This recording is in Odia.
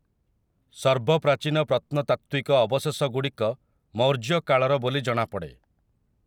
ସର୍ବପ୍ରାଚୀନ ପ୍ରତ୍ନତାତ୍ତ୍ୱିକ ଅବଶେଷଗୁଡ଼ିକ ମୌର୍ଯ୍ୟ କାଳର ବୋଲି ଜଣାପଡ଼େ ।